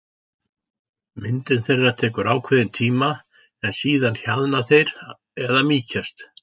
Myndun þeirra tekur ákveðinn tíma en síðan hjaðna þeir eða mýkjast.